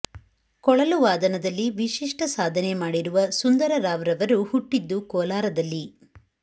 ಕೊಳಲು ವಾದನದಲ್ಲಿ ವಿಶಿಷ್ಟ ಸಾಧನೆ ಮಾಡಿರುವ ಸುಂದರರಾವ್ ರವರು ಹುಟ್ಟಿದ್ದು ಕೋಲಾರದಲ್ಲಿ